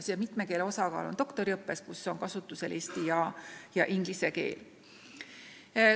Mitme keelega on tegu doktoriõppes, kus on kasutusel eesti ja inglise keel.